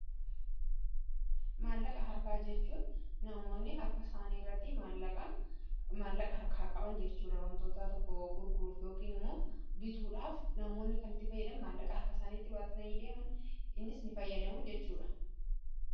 Maallaqa harkaa jechuun namoonni harka isaanii irratti maallaqa harkaa qaban jechuudha. Wantoota tokko gurguruuf yookiin immoo bituudhaaf namoonni kanitti fayyadamu maallaqa harka isaaniitti baatatanii deeman innis ni fayyadamu jechuudha.